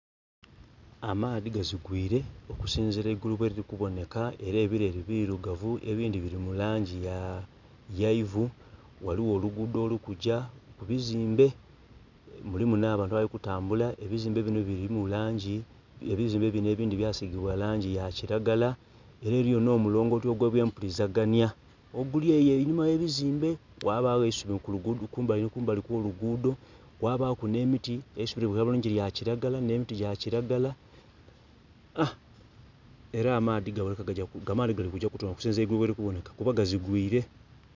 Amaadhi gazigwire okusinzira eigulu bweliri kuboneka era ebileri bilugavu ebindhi bili mu langi ya...ya ivu. Ghaligho oluguudo oluri kugya ku bizimbe. Mulimu nh'abantu abali kutambula. Ebizimbe bino bilimu langi...ebizimbe bino ebindhi byasigibwa langi ya kilagala, ela eliyo n'omulongooti ogwa eby'epulizaganya oguli eyo enhuma yebizimbe, ghabagho eisubi kumbali ni kumbali kw'oluguudo kwabaku n'emiti. Eisubi libonheka bulungi lya kilagala n'emiti gya kilagala ela amaadhi gali kugya kutoona engeli eigulu bweliri kuboneka kuba gazigwire.